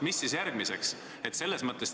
Mis siis järgmiseks tuleb?